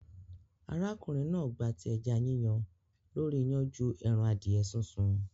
Arákùnrin náà gbati ẹja Yíyan lórí iyán ju ẹran adìẹ súnsun.